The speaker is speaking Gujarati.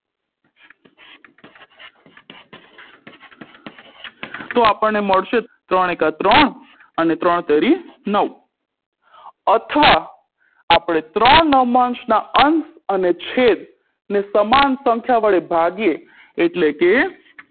તો આપણને મળશે ત્રણ એકા ત્રણ અને ત્રણ તેરી નવ અથવા આપણે ત્રણ નવમાંશના અંશ અને છેદને સમાન સંખ્યા વડે ભાગીએ એટલે કે